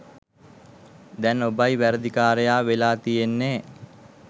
දැන් ඔබයි වැරැදිකාරයා වෙලා තියෙන්නෙ